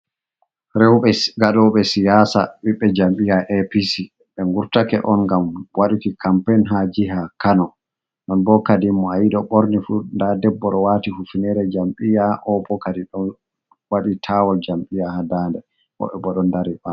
Rowbe ngadoɓe siyasa, biɓɓe jam'iyya APC, ɓe ngurtake on ngam waduki kampein ha jiha Kano. Non bo kadi mo ayi do borni fu, nda debbo do wati hufnere jam'iyya, o bo kadi ɗon wadi tawul jam'iyya ha dande. Wobbe bo do dari bawo